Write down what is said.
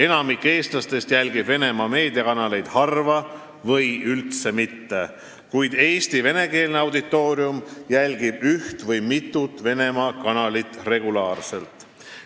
Enamik eestlastest jälgib Venemaa meediakanaleid harva või üldse mitte, kuid Eesti venekeelne auditoorium jälgib üht või mitut Venemaa kanalit regulaarselt.